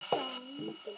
Engin fátækt.